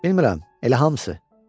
Bilmirem elə hamısı.